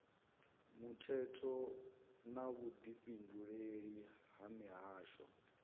muthetho na vhudifhinduleli ha mihasho